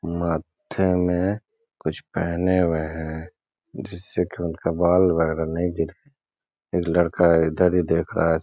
माथे में कुछ पेहने हुए हैं जिससे कि उनका बाल लग रहा है नही गिरे। एक लड़का है इधर ही देख रहा है। स --